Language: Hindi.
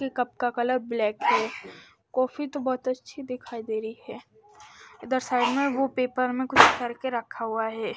कप का कलर ब्लैक है कॉफी तो बहुत अच्छी दिखाई दे रही है इधर साइड में वो पेपर में कुछ करके रखा हुआ है।